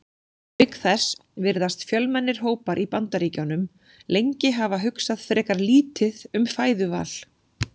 Auk þess virðast fjölmennir hópar í Bandaríkjunum lengi hafa hugsað frekar lítið um fæðuval.